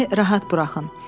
Məni rahat buraxın.